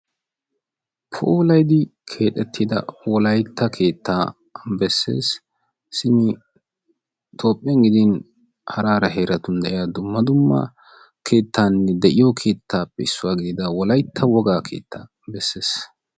Puulayddi keexxetida Wolaytta keetta bessees. Simi Toophiyaan gidin hara hara heeratun gidin dumma dumna keettanne de'iyo keettappe issuwaa gidida Wolaytta woga keetta bessees.